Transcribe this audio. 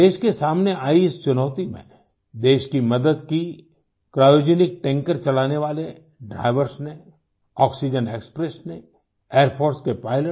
देश के सामने आई इस चुनौती में देश की मदद की क्रायोजेनिक टैंकर चलाने वाले ड्राइवर्स ने आक्सीजेन एक्सप्रेस ने एयर फोर्स के pilotsने